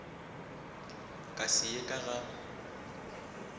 ka se ye ka ga